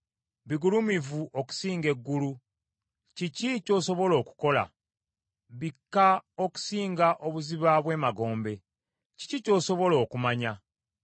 Bigulumivu okusinga eggulu, kiki ky’osobola okukola? Bikka okusinga obuziba bw’emagombe, kiki ky’osobola okumanya?